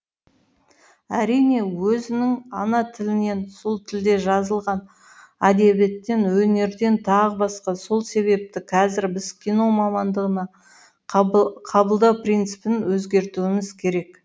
әрине өзінің ана тілінен сол тілде жазылған әдебиеттен өнерден тағы басқа сол себепті қазір біз кино мамандығына қабылдау принципін өзгертуіміз керек